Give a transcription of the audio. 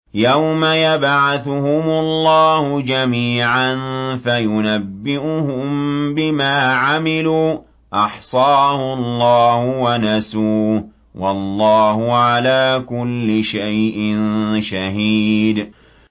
يَوْمَ يَبْعَثُهُمُ اللَّهُ جَمِيعًا فَيُنَبِّئُهُم بِمَا عَمِلُوا ۚ أَحْصَاهُ اللَّهُ وَنَسُوهُ ۚ وَاللَّهُ عَلَىٰ كُلِّ شَيْءٍ شَهِيدٌ